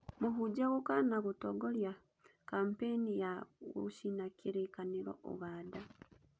Mũhunjia gũkana gũtongorĩa kampaini ya gũcina Kirĩkanĩro ũganda.